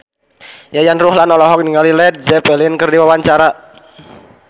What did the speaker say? Yayan Ruhlan olohok ningali Led Zeppelin keur diwawancara